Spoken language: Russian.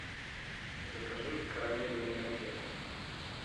закажи карамельные конфеты